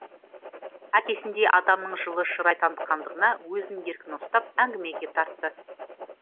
әкесіндей адамның жылы шырай танытқандығына өзін еркін ұстап әңгімеге тартты